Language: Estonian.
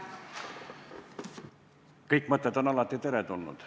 Kõik mõtted on alati teretulnud.